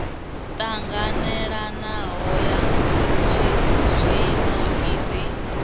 ṱanganelanaho ya tshizwino i re